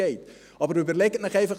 Aber überlegen Sie es sich einfach: